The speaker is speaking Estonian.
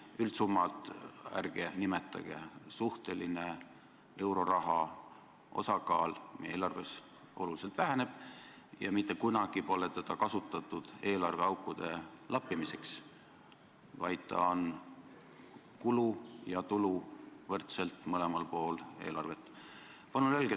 Üldsummat ärge nimetage, euroraha suhteline osakaal eelarves väheneb oluliselt ja mitte kunagi pole seda kasutatud eelarveaukude lappimiseks, vaid see on kulu ja tulu, võrdselt eelarve mõlemal pool.